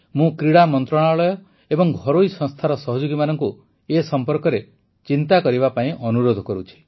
ମୁଁ କ୍ରୀଡ଼ା ମନ୍ତ୍ରଣାଳୟ ଏବଂ ଘରୋଇ ସଂସ୍ଥାର ସହଯୋଗୀମାନଙ୍କୁ ଏ ସମ୍ପର୍କରେ ଚିନ୍ତା କରିବା ପାଇଁ ଅନୁରୋଧ କରୁଛି